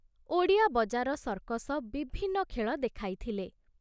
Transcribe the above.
Odia Bazar circus ବିଭିନ୍ନ ଖେଳ ଦେଖାଇଥିଲେ।